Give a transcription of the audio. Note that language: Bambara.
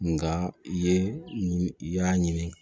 Nga i ye i y'a ɲini